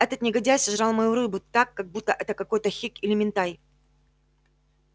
этот негодяй сожрал мою рыбу так как будто это какой-то хек или минтай